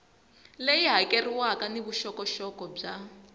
leyi hakeriwaka ni vuxokoxoko bya